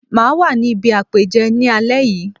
Mà á wà ní ibi àpèjẹ ní alé yìí.